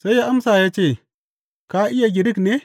Sai ya amsa ya ce, Ka iya Girik ne?